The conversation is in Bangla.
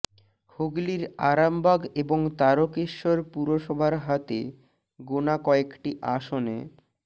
হুগলির আরামবাগ এবং তারকেশ্বর পুরসভায় হাতে গোনা কয়েকটি আসনে